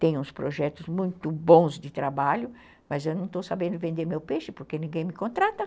Tem uns projetos muito bons de trabalho, mas eu não estou sabendo vender meu peixe porque ninguém me contrata.